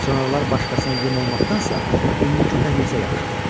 Sonralar başqasına yem olmaqdansa indi kötək yesə yaxşıdır.